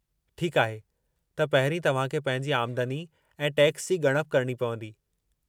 ठीक आहे त पहिरीं तव्हां खे पंहिंजी आमदनी ऐं टैक्स जी ॻणप करणी पवंदी।